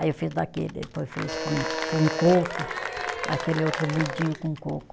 Aí eu fiz daquele, depois eu fiz com coco, aquele outro moidinho com coco.